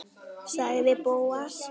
sagði Bóas.